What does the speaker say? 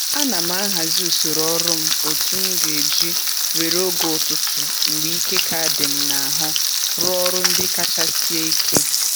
Ana m ahazi usoro ọrụ m otu m ga-eji were oge ụtụtụ mgbe ike ka dị m n'ahụ rụọ ọrụ ndị kacha sie ike